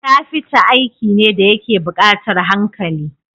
Kafita aiki ne dayake bukatar hankali